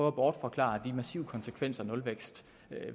at bortforklare de massive konsekvenser nulvækst